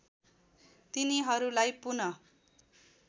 तिनीहरूलाई पुन